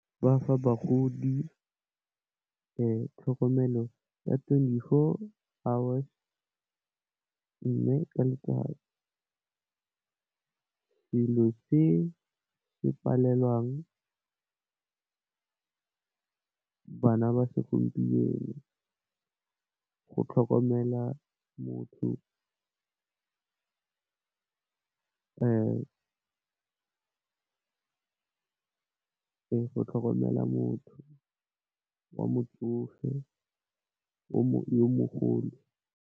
Bafa bagodi tlhokomelo ya twenty four hours. Mme, ka letsatsi dilo tse di palelang bana ba segompieno go tlhokomela motho wa motsofe, o mogolo.